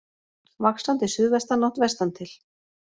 Vaxandi suðvestanátt vestantil